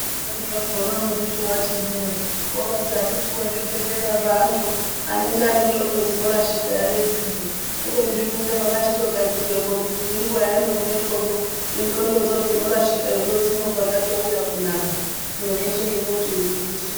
Zvimweni zvakona unozviti wazviti ndee woroti akiti wee zvibhedhlera zvaantu anenge ane ndlxondo dzinorashika ere idzidzi kubeni zvinenge zvakachitigadzirwepo muntu nenguwa yaanogumepozvo nendxondodzo dzinorashika dzobva dzatouya kunaka zviro zveshe zvototi njusu